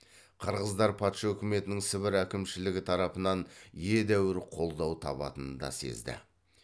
қырғыздар патша үкіметінің сібір әкімшілігі тарапынан едәуір қолдау табатынын да сезді